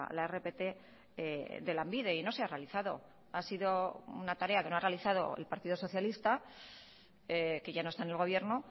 la rpt de lanbide y no se ha realizado ha sido una tarea que no ha realizado el partido socialista que ya no está en el gobierno